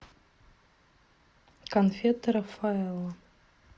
конфеты рафаэлло